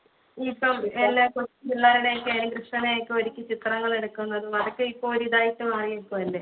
ഇപ്പോൾ എല്ലാവർക്കും പിള്ളേരുടെയൊക്കെ ആയാലും കൃഷ്ണനെയൊക്കെ ഒരുക്കി ചിത്രങ്ങൾ എടുക്കുന്നത് അതൊക്കെ ഇപ്പൊ ഒരു ഇതായിട്ട് മാറിയിരിക്കുഅല്ലെ